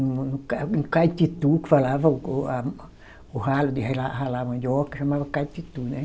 Um caititu, que falava o o, a, o ralo de railar, ralar mandioca, chamava caititu, né?